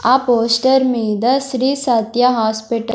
ఆ పోస్టర్ మీద శ్రీ సత్య హాస్పిట --